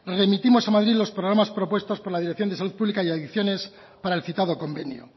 remitimos a madrid los programas propuestos por la dirección de salud pública y adicciones para el citado convenio